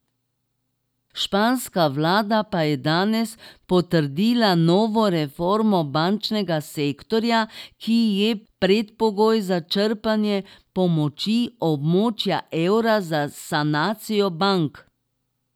Španska vlada pa je danes potrdila novo reformo bančnega sektorja, ki je predpogoj za črpanje pomoči območja evra za sanacijo bank.